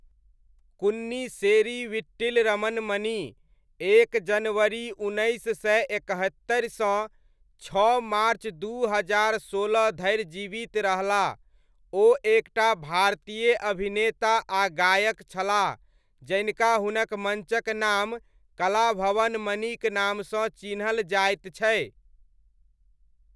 कुन्निस्सेरी वीट्टिल रमन मणि, एक जनवरी उन्नैस सय एकहत्तरि सँ छओ मार्च दू हजार सोलह धरि जीवित रहलाह, ओ एकटा भारतीय अभिनेता आ गायक छलाह जनिका हुनक मञ्चक नाम कलाभवन मणिक नामसँ चिन्हल जायत छै।